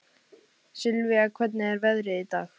Sylvia, hvernig er veðrið í dag?